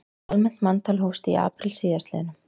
Almennt manntal hófst í apríl síðastliðnum